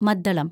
മദ്ദളം